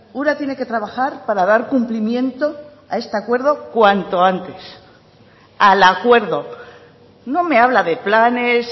ura tiene que trabajar para dar cumplimiento a este acuerdo cuanto antes al acuerdo no me habla de planes